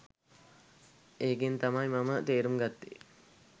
එකෙන් තමයි මම තේරුම් ගත්තේ